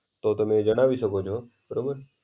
તો તમે જણાવી શકો છો, બરોબર.